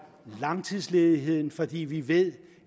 langtidsledigheden fordi vi ved